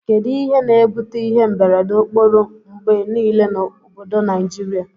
Kedu ihe na ebute ihe mberede okporo ngbe nile na obodo nigiria?